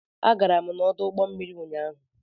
Agara m n'ọdụ ụgbọ mmiri ụnyaahụ